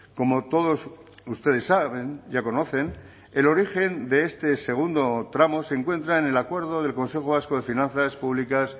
como todos ustedes saben ya conocen el origen de este segundo tramo se encuentra en el acuerdo del consejo vasco de finanzas públicas